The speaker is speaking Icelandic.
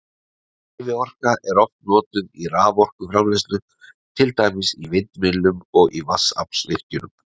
Hreyfiorka er oft notuð í raforkuframleiðslu, til dæmis í vindmyllum og í vatnsaflsvirkjunum.